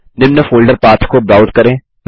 निम्न folder path को browse करें